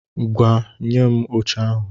Ngwá, nye m oche ahụ!